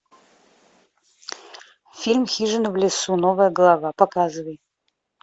фильм хижина в лесу новая глава показывай